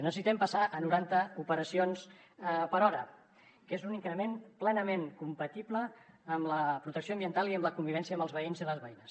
necessitem passar a noranta operacions per hora que és un increment plenament compatible amb la protecció ambiental i amb la convivència amb els veïns i les veïnes